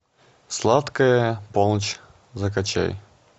сладкая полночь закачай